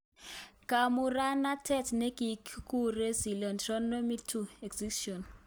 Kamuratanet ne kiguure Clitorudectomy 2: Excision